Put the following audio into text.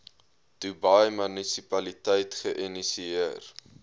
dubai munisipaliteit geïnisieer